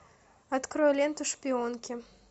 открой ленту шпионки